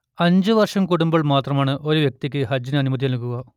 അഞ്ചു വർഷം കൂടുമ്പോൾ മാത്രമാണ് ഒരു വ്യക്തിക്ക് ഹജ്ജിനു അനുമതി നൽകുക